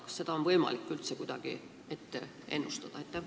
Kas seda on võimalik üldse kuidagi ette ennustada?